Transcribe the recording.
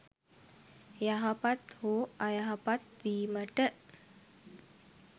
යහපත් හෝ අයහපත් වීමට